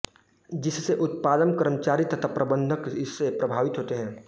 जिससे उत्पादन कर्मचारी तथा प्रंबधक इससे प्रभावित होते हैं